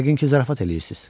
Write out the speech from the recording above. Yəqin ki zarafat eləyirsiz?